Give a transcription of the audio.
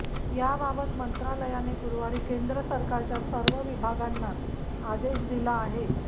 याबाबत मंत्रालयाने गुरूवारी केंद्र सरकारच्या सर्व विभागांना आदेश दिला आहे